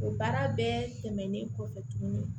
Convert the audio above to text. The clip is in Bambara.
O baara bɛɛ tɛmɛnen kɔfɛ tuguni